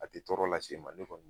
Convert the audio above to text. A tɛ tɔɔrɔ lase e ma ne kɔni